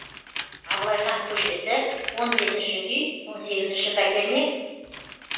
абылайхан көшесі он бесінші үй он сегізінші пәтер ме